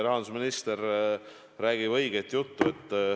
Rahandusminister räägib õiget juttu.